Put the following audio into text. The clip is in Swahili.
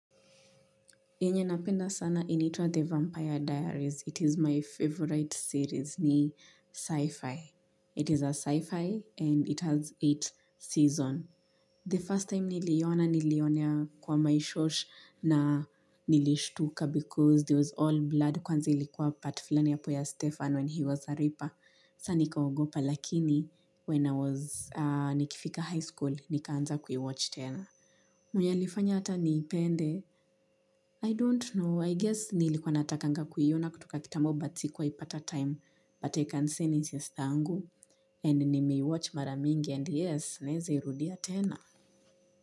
Yenye napenda sana inaitwa The Vampire Diaries. It is my favorite series ni sci-fi. It is a sci-fi and it has eight seasons. The first time niliiona niliionea kwa my shosh na nilishtuka because there was all blood kwanza ilikuwa part fulani yapo ya Stefan when he was a reaper. Sasa nikaogopa lakini when I was nikifika high school nikaanza kuiwatch tena. Mwenye alifanya hata niipende, I don't know, I guess nilikuwa natakanga kuiona kutoka kitambo but sikuwahi pata time, but I can say ni sistangu, and nimeiwatch mara mingi, and yes, naeza irudia tena.